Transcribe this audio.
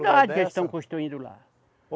que eles estão construindo lá.